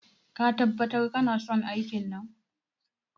Ka tabbatar kanason aikin nan?